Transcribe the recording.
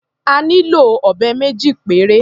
A nílò ọ̀bẹ méjì péré.